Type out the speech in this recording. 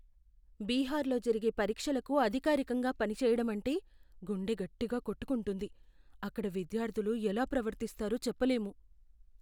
బీహార్లో జరిగే పరీక్షలకు అధికారికంగా పనిచేయడం అంటే గుండె గట్టిగా కొట్టుకుంటుంది. అక్కడ విద్యార్థులు ఎలా ప్రవర్తిస్తారో చెప్పలేము.